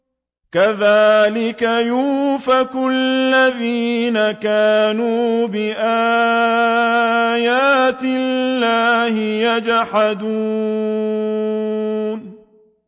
كَذَٰلِكَ يُؤْفَكُ الَّذِينَ كَانُوا بِآيَاتِ اللَّهِ يَجْحَدُونَ